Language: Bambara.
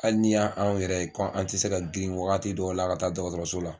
Hali n'i ya anw yɛrɛ ye ko an tɛ se ka girin wagati dɔw la ka taa da dɔgɔtɔrɔso la